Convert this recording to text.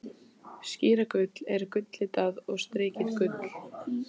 Skíragull er gulllitað og strikið gult.